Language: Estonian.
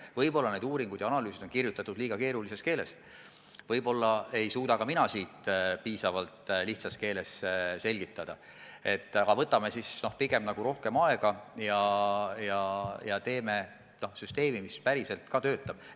Võib-olla need analüüsid on kirjutatud liiga keerulises keeles, võib-olla ei suuda ka mina piisavalt lihtsas keeles asja selgitada, aga võtame siis rohkem aega ja teeme süsteemi, mis päriselt ka töötab.